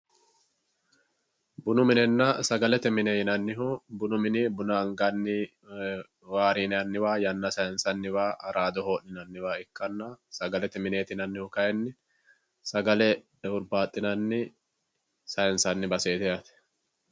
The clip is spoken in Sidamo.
bunu minenna sagalete mine yinannihu bunu mini buna anganni waarinanniwa yanna sayiinsanniwa ikkanna sagalete mineeti yinannihu kayeenni sagale hurbaaxxinanni sayiinsanni baseeti yaate